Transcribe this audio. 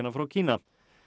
frá Kína